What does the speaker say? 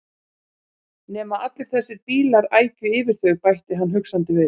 Nema allir þessir bílar ækju yfir þau bætti hann hugsandi við.